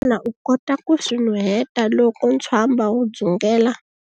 Xana u kota ku swi nuheta loko ntswamba wu dzungela?